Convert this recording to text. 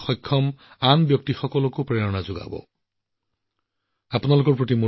অতি সহজসৰল পৰিয়ালৰ পৰা অহাৰ পিছতো ইন্দুৱে কেতিয়াও দৰিদ্ৰতাক নিজৰ সফলতাৰ সন্মুখত হেঙাৰ হবলৈ নিদিলে